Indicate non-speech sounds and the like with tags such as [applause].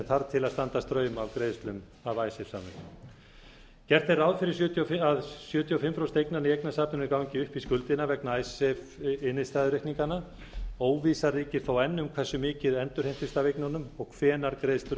þarf til að standa straum af greiðslum af [unintelligible] samningunum gert er ráð fyrir að sjötíu og fimm prósent eignanna í eignasafninu gangi upp í skuldina vegna [unintelligible] óvissa ríkir þó enn um hversu mikið endurheimtist af eignunum og hvenær greiðslur